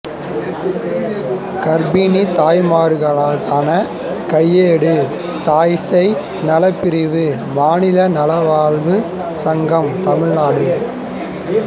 கர்ப்பிணி தய்மார்களுக்கான கையேடுதாய் சேய் நலப்பிரிவுமாநில நலவாழ்வு சங்கம்தமிழ் நாடு